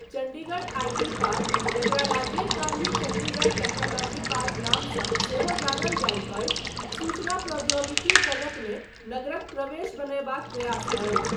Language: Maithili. चण्डीगढ़ आइ.टी. पार्क जकरा राजीव गान्धी चण्डीगढ़ टेक्नोलॉजी पार्क नामसँ सेहो जानल जाइत अछि, सूचना प्रौद्योगिकी जगतमे नगरक प्रवेश बनयबाक प्रयास अछि।